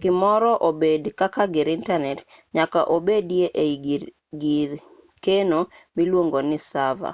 gimoro obed kaka gir intanet nyaka obedi ei gir keno miluongo ni sava